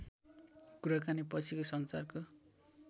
कुराकानी पछिको सञ्चारको